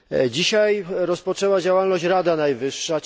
Dzisiaj rozpoczęła działalność Rada Najwyższa.